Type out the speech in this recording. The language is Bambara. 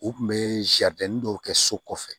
U kun bɛ dɔw kɛ so kɔfɛ